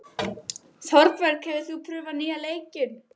Þorbjörg, hefur þú prófað nýja leikinn?